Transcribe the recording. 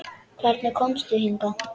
Hvernig komstu hingað?